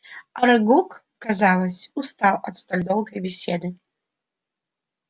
арагог казалось устал от столь долгой беседы